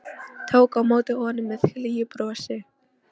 Tók á móti honum með hlýju brosi.